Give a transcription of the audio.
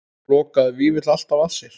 Lokaði Vífill alltaf að sér?